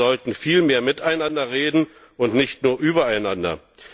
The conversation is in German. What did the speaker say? Und wir sollten viel mehr miteinander reden, und nicht nur übereinander.